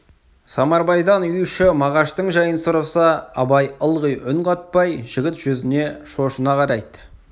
самарбайдан үй іші мағаштың жайын сұраса абай ылғи үн қатпай жігіт жүзіне шошына қарайды